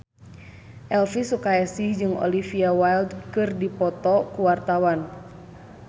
Elvi Sukaesih jeung Olivia Wilde keur dipoto ku wartawan